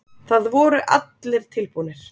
Það voru allir tilbúnir.